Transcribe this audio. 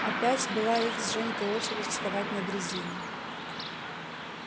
опять была их с женькой очередь вставать на дрезину